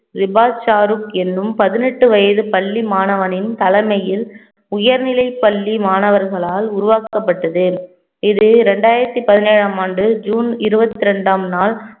எண்ணும் பதினெட்டு வயது பள்ளி மாணவனின் தலைமையில் உயர்நிலைப் பள்ளி மாணவர்களால் உருவாக்கப்பட்டது இது இரண்டாயிரத்தி பதினேழாம் ஆண்டு ஜூன் இருபத்தி இரண்டாம் நாள்